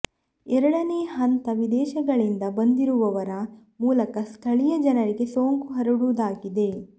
ಎರಡನೇ ಹಂತ ವಿದೇಶಗಳಿಂದ ಬಂದಿರುವವರ ಮೂಲಕ ಸ್ಥಳೀಯ ಜನರಿಗೆ ಸೋಂಕು ಹರಡುವುದಾಗಿದೆ